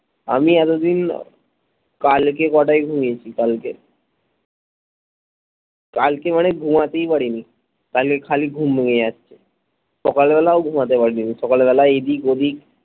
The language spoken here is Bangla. আমি এতদিন কালকে কটাই ঘুমিয়েছি কালকে কালকে মানে ঘুমাতেই পারিনি কালকে খালি ঘুম ভেঙে যাচ্ছে সকালবেলাও ঘুমাতে পারিনি সকালবেলা এইদিক ঐদিক